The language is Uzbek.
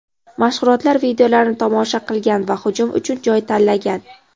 mashg‘ulot videolarini tomosha qilgan va hujum uchun joy tanlagan.